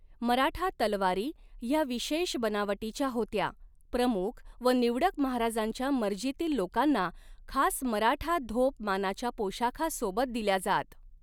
मराठा तलवारी हया विशेष बनावटीच्या होत्या प्रमुख व निवडक महाराजांच्या मर्जीतील लोकांना खास मराठा धोप मानाच्या पोशाखा सोबत दिल्या जात.